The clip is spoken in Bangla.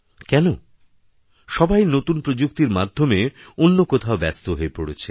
কেন সবাই নতুনপ্রযুক্তির মাধ্যমে অন্য কোথাও ব্যস্ত হয়ে পড়েছে